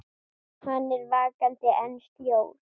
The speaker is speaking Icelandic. Hann er vakandi en sljór.